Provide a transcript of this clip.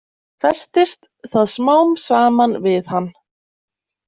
Festist það smám saman við hann.